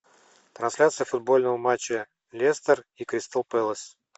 трансляция футбольного матча лестер и кристал пэлас